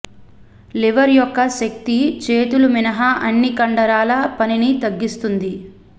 liver యొక్క శక్తి చేతులు మినహా అన్ని కండరాల పనిని తగ్గిస్తుంది